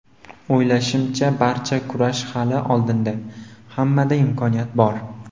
O‘ylashimcha, barcha kurash hali oldinda, hammada imkoniyat bor.